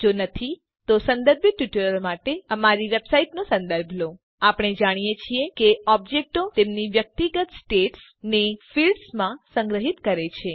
જો નથી તો સંદર્ભિત ટ્યુટોરીયલો માટે બતાવ્યા મુજબ અમારી વેબસાઈટનો સંદર્ભ લો httpwwwspoken tutorialઓર્ગ આપણે જાણીએ છીએ કે ઓબ્જેક્ટો તેમની વ્યક્તિગત સ્ટેટ્સ ને ફિલ્ડ્સ માં સંગ્રહીત કરે છે